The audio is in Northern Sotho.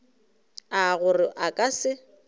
a gore a ka se